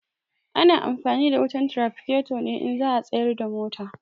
Ana amfani da wutan tiraficato ne in za a tsayar da mota.